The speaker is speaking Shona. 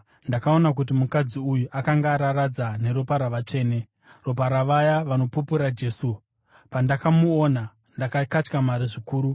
Ndakaona kuti mukadzi uyu akanga araradza neropa ravatsvene, ropa ravaya vanopupura Jesu. Pandakamuona, ndakakatyamara zvikuru.